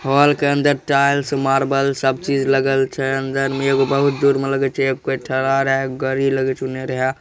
Hall के अन्दर tiles marble सब चीज लगल छै अन्दर में एगो बहुत दूर में लगे छै कोय ठरा रहे एगो गड़ी लगे छै उनने रहे ।